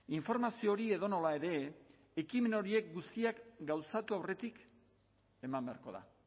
informazio hori edonola ere ekimen horiek guztiak gauzatu aurretik eman beharko da